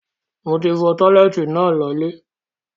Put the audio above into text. Moti fọ̀ọ̀ tọ́lẹ́ẹ́tì náà lọ ilẹ̀.